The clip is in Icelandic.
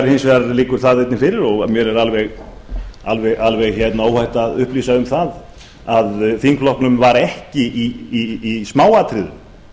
hins vegar liggur það einnig fyrir og mér er alveg óhætt að upplýsa um það að þingflokknum var ekki í smáatriðum